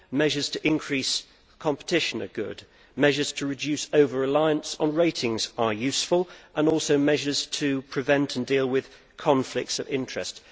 The measures to increase competition are good, the measures to reduce over reliance on ratings are useful and there are also the measures to prevent and deal with conflicts of interests.